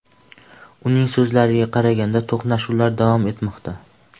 Uning so‘zlariga qaraganda, to‘qnashuvlar davom etmoqda.